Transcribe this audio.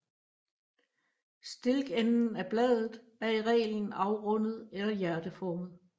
Stilkenden af bladet er i reglen afrundet eller hjerteformet